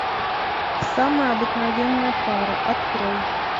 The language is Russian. самая обыкновенная пара открой